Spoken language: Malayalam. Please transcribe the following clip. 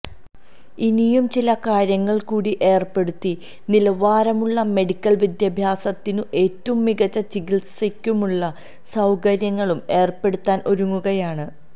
ഇനിയും ചില കാര്യങ്ങൾ കൂടി ഏർപ്പെടുത്തി നിലവാരമുള്ള മെഡിക്കൽ വിദ്യാഭ്യാസത്തിനും ഏറ്റവും മികച്ച ചികിത്സക്കുമുള്ള സൌകര്യങ്ങളും ഏർപ്പെടുത്താൻ ഒരുങ്ങുകയാണ്